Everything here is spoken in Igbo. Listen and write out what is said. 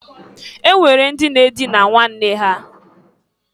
E nwere ndị na-adịna nwanne ha.